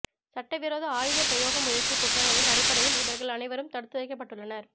சட்டவிரோத ஆயுத பிரயோக முயற்சி குற்றங்களின் அடிப்படையில் இவர்கள் அனைவரும் தடுத்துவைக்கப்பட்டுள்ளனர்